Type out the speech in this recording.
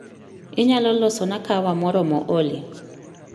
Inyalo losona kawa moromo Olly